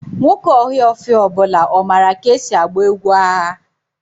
Nwoke ohaofia ọ bula mara ka esi agba egwu agha?